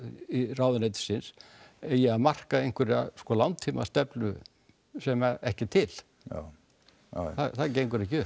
ráðuneytisins eigi að marka einhverja langtímastefnu sem ekki er til það gengur ekki upp